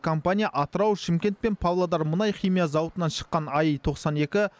компания атырау шымкент пен павлодар мұнай химия зауытынан шыққан аи тоқсан екі